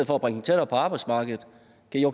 det her